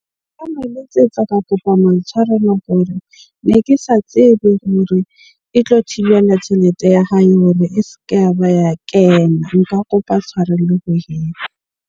Nka mo letsetsa ka kopa maitshwarelo hore, ne ke sa tsebe hore e tlo thibela tjhelete ya hae hore e se ke ya ba ya kena. Nka kopa tshwarelo ho .